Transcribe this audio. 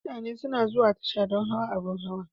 Mutane suna zuwa tasha don hawa abin hawa..